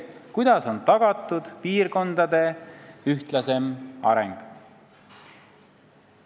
Kuidas on tagatud piirkondade ühtlasem areng?